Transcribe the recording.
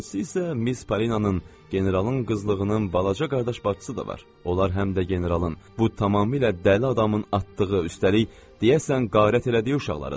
İkincisi isə Miz Parinanın, generalın qızlığının balaca qardaş bacısı da var, onlar həm də generalın, bu tamamilə dəli adamın atdığı, üstəlik deyəsən qarət elədiyi uşaqlarıdırlar.